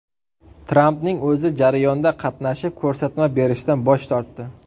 Trampning o‘zi jarayonda qatnashib, ko‘rsatma berishdan bosh tortdi .